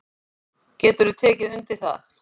Geturðu tekið undir það?